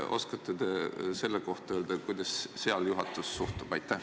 Kas oskate öelda, kuidas juhatus sellesse suhtub?